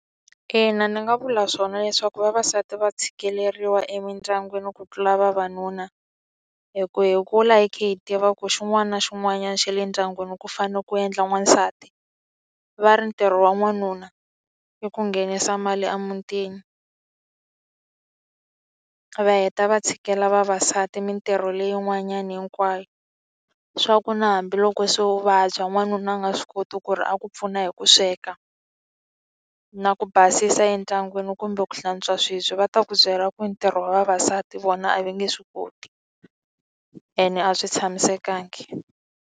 Ina ni nga vula swona leswaku vavasati va tshikeleriwa emindyangwini ku tlula vavanuna hi ku hi kula hi khe hi tiva ku xin'wana na xin'wanyana xa le ndyangwini ku fanele ku endla n'wansati. Va ri ntirho wa n'wanuna i ku nghenisa mali emutini a va heta va tshikela vavasati mitirho leyin'wanyana hinkwayo swa ku na hambiloko se u vabya n'wanuna a nga swi koti ku ri a ku pfuna hi ku sweka na ku basisa endyangwini kumbe ku hlantswa swibye va ta ku byela ku ntirho wa vavasati vona a va nge swi koti ene a swi tshamisekangi.